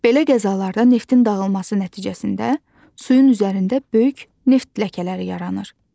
Belə qəzalarda neftin dağılması nəticəsində suyun üzərində böyük neft ləkələri yaranır.